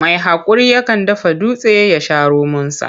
Mai haƙuri yakan dafa dutse ya sha romonsa.